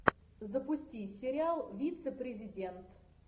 запусти сериал вице президент